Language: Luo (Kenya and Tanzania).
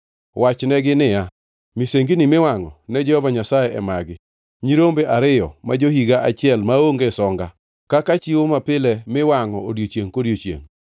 Wachnegi niya, ‘Misengini miwangʼo ne Jehova Nyasaye e magi: nyirombe ariyo ma jo-higa achiel maonge songa, kaka chiwo mapile mowangʼ odiechiengʼ kodiechiengʼ.